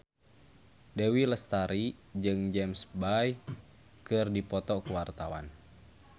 Dewi Lestari jeung James Bay keur dipoto ku wartawan